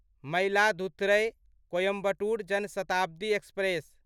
Mayiladuthurai Coimbatore Jan Shatabdi express